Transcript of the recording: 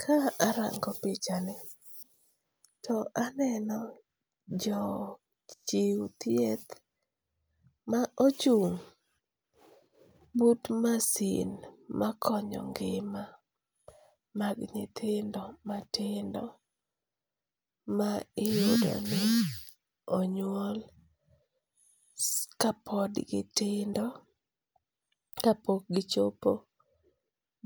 Ka arango pichani to aneno jo chiw thieth ma ochung' but masin makonyo ng'ima mag nyithindo matindo, ma iyudoni onyuol ka pod gitindo ka pok gichopo